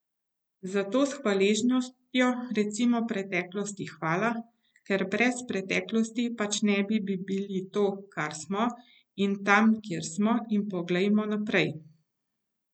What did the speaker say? Zato s hvaležnostjo recimo preteklosti hvala, ker brez preteklosti pač ne bi bili to, kar smo, in tam, kjer smo, in poglejmo naprej.